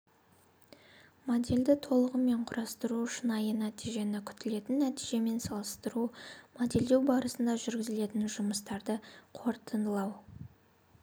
модельді толығымен құрастыру шынайы нәтижені күтілетін нәтижемен салыстыру модельдеу барысында жүргізілген жұмыстарды қорытындылау